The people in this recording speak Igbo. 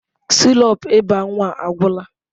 Sirop ịba nwa agwụla.